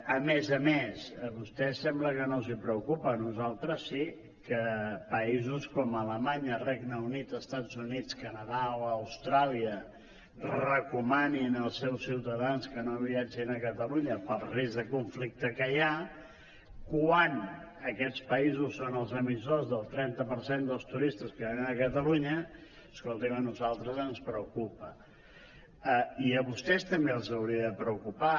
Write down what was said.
a més a més a vostès sembla que no els preocupa a nosaltres sí que països com alemanya el regne unit els estats units canadà o austràlia recomanin als seus ciutadans que no viatgin a catalunya pel risc de conflicte que hi ha quan aquests països són els emissors del trenta per cent dels turistes que venen a catalunya escolti’m a nosaltres ens preocupa i a vostès també els hauria de preocupar